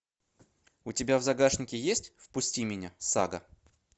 у тебя в загашнике есть впусти меня сага